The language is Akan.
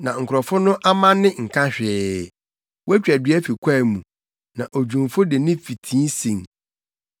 Na nkurɔfo no amanne nka hwee; wotwa dua fi kwae mu, na odwumfo de ne fitii asen.